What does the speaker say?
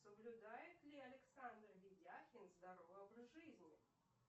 соблюдает ли александр ведяхин здоровый образ жизни